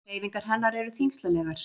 Hreyfingar hennar eru þyngslalegar.